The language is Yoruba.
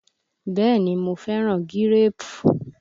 Bẹ́ẹ̀ ni, mo fẹ́ gíréèpù.